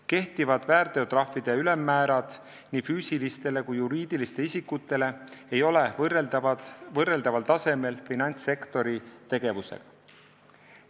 Kehtivad väärteotrahvi ülemmäärad nii füüsilistel kui ka juriidilistel isikutel ei ole võrreldaval tasemel finantssektori tegevusega.